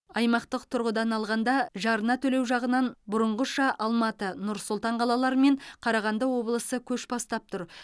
аймақтық тұрғыдан алғанда жарна төлеу жағынан бұрынғыша алматы нұр сұлтан қалалары мен қарағанды облысы көш бастап тұр